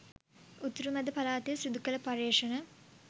උතුරු මැදපළාතේ සිදු කළ පර්යේෂණ